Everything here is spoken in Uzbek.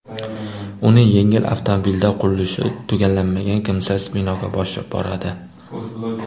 Uni yengil avtomobilda qurilishi tugallanmagan kimsasiz binoga boshlab boradi.